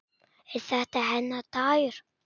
Er þetta hennar dagur?